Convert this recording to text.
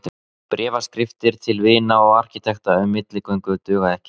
Bréfaskriftir til vina og arkitekta um milligöngu duga ekki.